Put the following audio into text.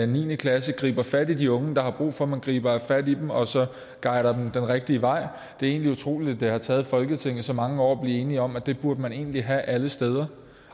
niende klasse griber fat i de unge der har brug for at man griber fat i dem og guider dem den rigtige vej det er egentlig utroligt at det har taget folketinget så mange år at blive enige om at det burde man egentlig have alle steder